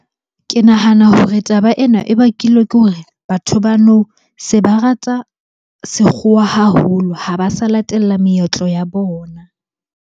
Ke nahana hore taba ena e bakilwe ke hore batho ba nou, se ba rata sekgowa haholo ha ba sa latella meetlo ya bona.